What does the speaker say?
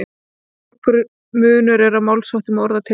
Nokkur munur er á málsháttum og orðatiltækjum.